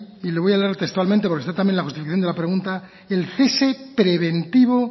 y le voy a hablar textualmente porque está también en la justificación de la pregunta el cese preventivo